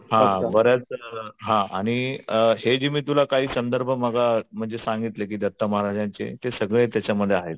हां बऱ्याच हां आणि हे मी तुला काही संदर्भ म्हणजे सांगितले की दत्त महाराजांचे ते सगळे त्याच्यामध्ये आहेत.